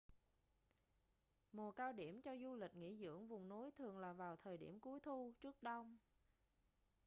mùa cao điểm cho du lịch nghỉ dưỡng vùng núi thường là vào thời điểm cuối thu trước đông